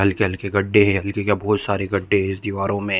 हल्के-हल्के गड्डे है हल्के क्या बहोत सारे गड्डे है इस दीवारों में--